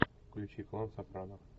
включи клан сопрано